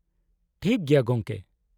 -ᱴᱟᱷᱤᱠ ᱜᱮᱭᱟ ᱜᱚᱢᱠᱮ ᱾